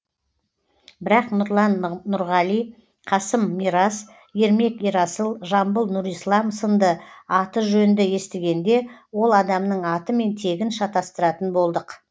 бірақ нұрлан нұрғали қасым мирас ермек ерасыл жамбыл нұрислам сынды аты жөнді естігенде ол адамның аты мен тегін шатасыратын болдық